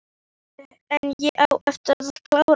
En ég á eftir að klára.